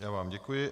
Já vám děkuji.